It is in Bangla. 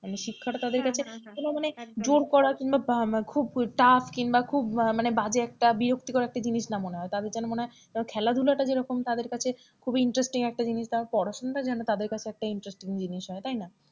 মানের শিক্ষাটা তাদের কাছে কোনো মানে জোর করা কিংবা খুব tuff মানে কিংবা খুব মানে বাজে একটা বিরক্ত কর একটা জিনিস না মনে হয় তাদের যেন মনেহয় খেলাধুলাটা যেরকম তাদের কাছে খুব interesting জিনিস পড়াশোনাটা যেন তাদের কাছে একটা interesting জিনিস হয় তাই না,